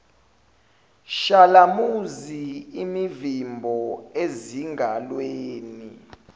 shalamuzi imivimbo ezingalweni